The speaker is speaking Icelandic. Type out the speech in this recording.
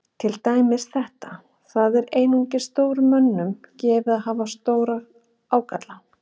Til dæmis þetta: Það er einungis stórum mönnum gefið að hafa stóra ágalla.